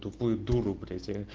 тупой дуру блять а